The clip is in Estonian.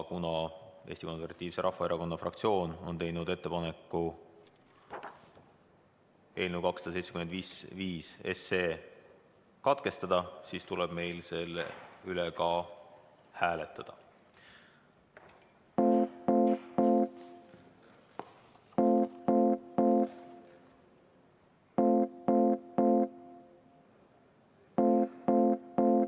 Kuna Eesti Konservatiivse Rahvaerakonna fraktsioon on teinud ettepaneku eelnõu 275 teine lugemine katkestada, siis tuleb meil seda hääletada.